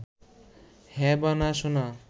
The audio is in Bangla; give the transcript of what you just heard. হ্যাঁ বা না শোনা